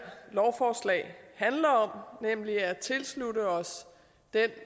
lovforslag handler om nemlig at tilslutte os den